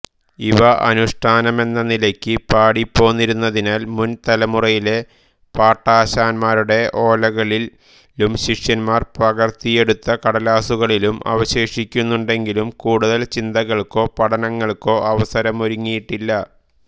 അവ അനുഷ്ഠാനമെന്ന നിലയ്ക്ക് പാടിപ്പോന്നിരുന്നതിനാൽ മുൻതലമുറയിലെ പാട്ടാശാൻമാരുടെ ഓലകളിലും ശിഷ്യന്മാർ പകർത്തിയെടുത്ത കടലാസ്സുകളിലും അവശേഷിക്കുന്നുണ്ടെങ്കിലും കൂടുതൽ ചിന്തകൾക്കോ പഠനങ്ങൾക്കോ അവസരമൊരുങ്ങിയിട്ടില്ല